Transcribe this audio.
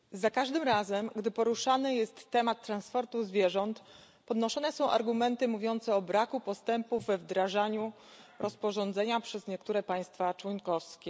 Panie Przewodniczący! Za każdym razem gdy poruszany jest temat transportu zwierząt, podnoszone są argumenty mówiące o braku postępów we wdrażaniu rozporządzenia przez niektóre państwa członkowskie.